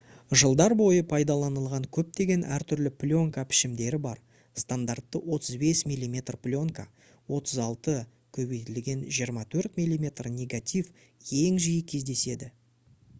жылдар бойы пайдаланылған көптеген әртүрлі пленка пішімдері бар. стандартты 35 мм пленка 36 x 24 мм негатив ең жиі кездеседі